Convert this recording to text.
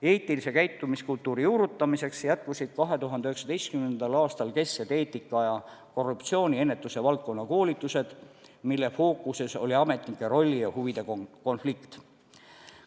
Eetilise käitumiskultuuri juurutamiseks jätkusid 2019. aastal kesksed eetika- ja korruptsiooniennetuse valdkonna koolitused, mille fookuses oli ametnike rolli ja huvide konflikt.